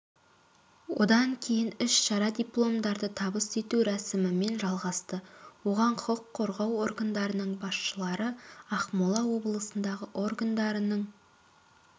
одан кейін іс-шара дипломдарды табыс ету рәсімімен жалғасты оған құқық қорғау органдарының басшылары ақмола облындағы органдарының